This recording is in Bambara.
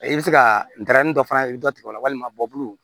I bɛ se ka ntɛrɛnin dɔ fana i bɛ dɔ tigɛ o la walima bɔlɔn